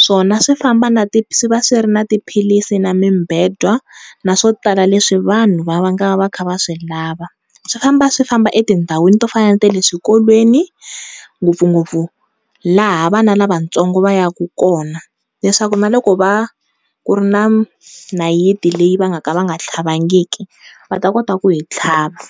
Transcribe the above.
swona swi famba na swi va swi ri na tiphilisi na mibedwa na swo tala leswi vanhu va nga va ka va kha va swi lava, swi famba swi famba etindhawini to fana na le swikolweni ngopfungopfu laha vana lavatsongo va ya ku kona kona leswaku na loku ku ri na nayiti leyi va nga ka va nga tlhavangiki va ta kota ku yi tlhava.